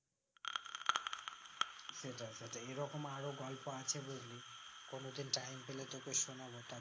সেটাই সেটাই এইরকম আরো গল্প আছে বুঝলি কোনো দিন time পেলে তোকে শোনাবো তা